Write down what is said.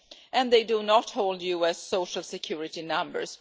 and do not hold US social security numbers.